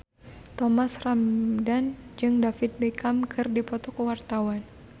Thomas Ramdhan jeung David Beckham keur dipoto ku wartawan